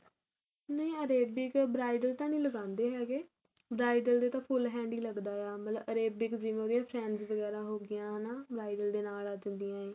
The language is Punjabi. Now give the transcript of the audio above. ਨਹੀਂ Arabic bridal ਤਾਂ ਨੀਂ ਲਗਾਂਦੇ ਹੈਗੇ bridal ਦੇ ਤਾਂ full hand ਈ ਲੱਗਦਾ ਆ ਮਤਲਬ Arabic ਜਿਵੇਂ ਉਹਦੀਆਂ friends ਵਗੈਰਾ ਹੋ ਗਈਆਂ ਹਨਾ bridal ਦੇ ਨਾਲ ਆ ਜਾਂਦੀਆ